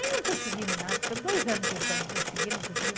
Aí não conseguimos nada, ficamos dois anos tentando conseguir, não conseguimos.